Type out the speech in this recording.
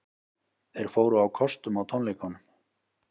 Þeir fóru á kostum á tónleikunum